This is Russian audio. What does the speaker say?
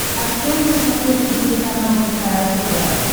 открой на смотрешке телеканал кхл тв